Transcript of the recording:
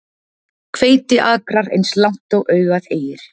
Hveitiakrar eins langt og augað eygir.